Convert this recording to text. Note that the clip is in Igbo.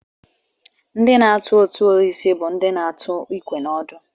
Ndị na-atu ọtụ osisi bụ ndị na-atụ ikwe na ọdụ